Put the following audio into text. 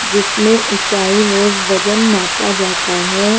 जिसमें ऊंचाई वो वजन नापा जाता है।